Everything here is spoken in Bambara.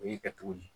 O y'i kɛ cogo di